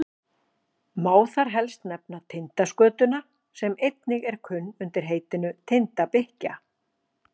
má þar helst nefna tindaskötuna sem einnig er kunn undir heitinu tindabikkja